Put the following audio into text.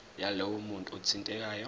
yalowo muntu othintekayo